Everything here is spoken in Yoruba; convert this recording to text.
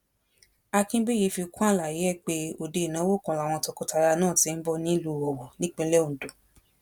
akínbíyí fi kún àlàyé ẹ pé òde ìnáwó kan làwọn tọkọtìyàwó náà ti ń bọ nílùú owó nípínlẹ ondo